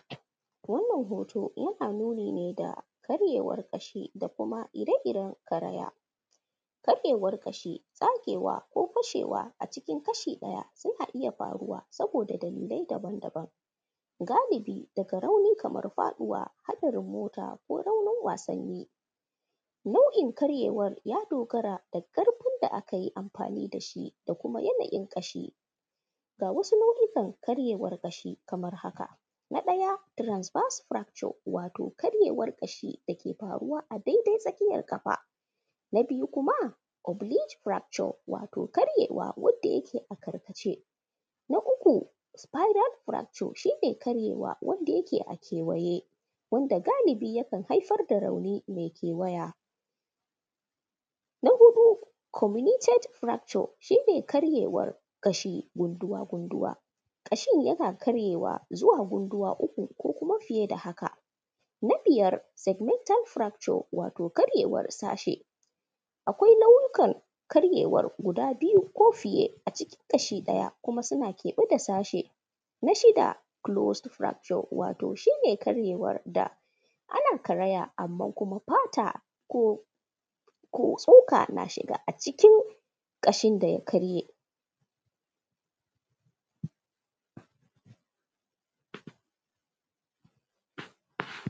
Wannan hoto yana nuni ne da karyewar ƙashi da kuma ire-iren karaya. Karyewar ƙashi tsagewa ko fashewa a cikin kashi ɗaya suna iya faruwa saboda dalilai daban-daban, galibi daga rauni kamar faɗuwa haɗarin mota ko raunin wasanni nau’in karyewar ya dogara da ƙarfin da ake amfani da shi da kuma yanayin ƙashi. Ga wasu nau’ikan karyewar ƙashin kamar haka: na ɗaya transfer structure wato karyewar ƙashi dake faruwa a daidai tsakiyar ƙafa, na biyu kuma oblichfracture wato karyewar wanda yake a karkace. Na uku spidal fracture shi ne karyewa wanda yake a kewaye wanda galibi yakan haifar da rauni mai kewaya na huɗu kuma communitate fracture shi ne karyewar ƙashi gunduwa. Gunduwa ƙshin yana karyewa zuwa gunguwa gunduwa uku ko kuma fiye da haka, na biyar segmental fracture wato karyewar sashe akwai nau’ikan karyewar guda biyu ko fiye a cikin ƙashi ɗaya kuma suna kebe da sashe na shida, closeto fracture wato shi ne karyewar da ana karaya kuma fata ko tsoka na shiga a cikin ƙashin da ya karye.